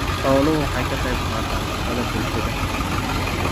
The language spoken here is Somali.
Xooluhu waxay ka qayb qaataan shaqada bulshada.